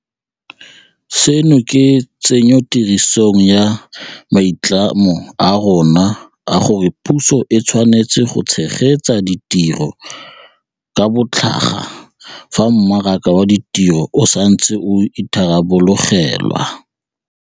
Seno ke tsenyotirisong ya maitlamo a rona a gore puso e tshwanetse go tshegetsa ditiro ka botlhaga fa mmaraka wa ditiro o sa ntse o itharabologelwa.